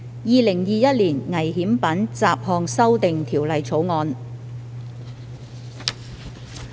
《2021年危險品條例草案》。